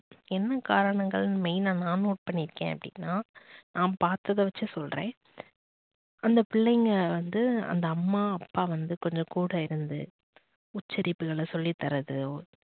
என்ன காரணங்கள் main னா நான் note பண்ணி இருக்கேன் அப்படின்னா நான் பார்த்தத வச்சு சொல்றேன் அந்த பிள்ளைகள் வந்து அந்த அம்மா அப்பா வந்து கொஞ்சம் கூட இருந்து உச்சரிப்புகளை சொல்லித்தரதோ